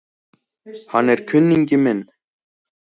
Hann er kunningi minn